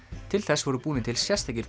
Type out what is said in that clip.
til þess voru búnir til sérstakir